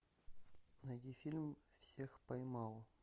найди фильм всех поймал